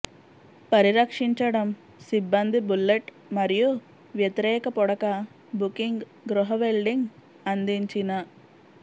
పరిరక్షించటం సిబ్బంది బుల్లెట్ మరియు వ్యతిరేక పుడక బుకింగ్ గృహ వెల్డింగ్ అందించిన